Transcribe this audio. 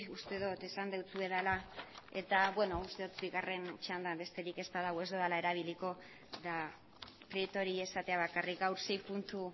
uste dut esan dizuedala eta uste dut bigarren txanda besterik ez bada ez dudala erabiliko eta prietori esatea bakarrik gaur sei puntu